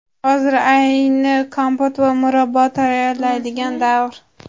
Hozir ayni kompot va murabbo tayyorlaydigan davr.